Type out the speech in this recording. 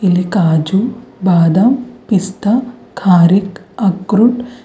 ಇಲ್ಲಿ ಕಾಜು ಬಾದಾಮ್ ಪಿಸ್ತ ಕಾರಿಕ್ ಅಕ್ರೂಟ್--